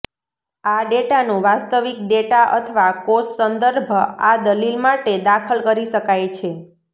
આ ડેટાનું વાસ્તવિક ડેટા અથવા કોષ સંદર્ભ આ દલીલ માટે દાખલ કરી શકાય છે